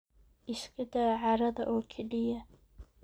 Iska daa caarada oo keliya.